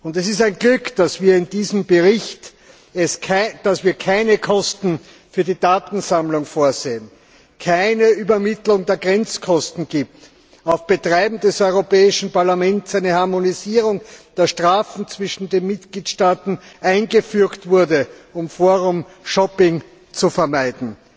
Es ist ein Glück, dass wir in diesem Bericht keine Kosten für die Datensammlung vorsehen, es keine Übermittlung der Grenzkosten gibt, auf Betreiben des Europäischen Parlaments eine Harmonisierung der Strafen zwischen den Mitgliedstaaten eingefügt wurde, um Forum Shopping zu vermeiden.